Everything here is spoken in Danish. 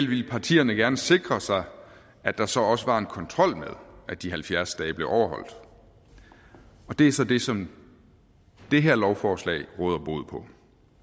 ville partierne gerne sikre sig at der så også var en kontrol med at de halvfjerds dage blev overholdt og det er så det som det her lovforslag råder bod på